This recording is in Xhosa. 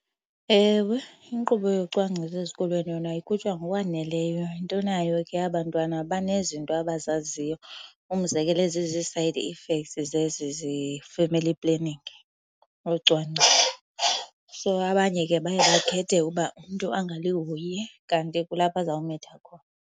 Ewe, inkqubo yocwangciso ezikolweni yona ikhutshwa ngokwaneleyo. Into nayo ke aba 'ntwana banezinto abazaziyo. Umzekelo, ezizi-side effects ze-family planning, ucwangciso. So abanye ke baye bakhethe uba umntu angalihoyi kanti kulapho azawumitha khona.